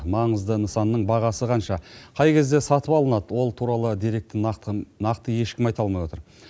маңызды нысанның бағасы қанша қай кезде сатып алынады ол туралы деректі нақты ешкім айта алмай отыр